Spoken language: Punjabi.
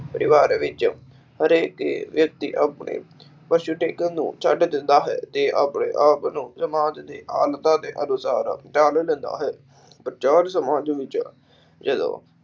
ਪਰਿਵਾਰ ਵਿਚ ਹਰੇਕ ਹੀ ਵਿਅਕਤੀ ਆਪਣੇ ਨੂੰ ਛੱਡ ਦਿੰਦਾ ਹੈ ਤੇ ਆਪਣੇ ਆਪ ਨੂੰ ਸਮਾਜ ਦੇ ਕੇ ਅਨੁਸਾਰ ਦਾਨ ਦਿੰਦਾ ਹੈ। ਸਮਾਜ ਵਿੱਚ ਜਦੋ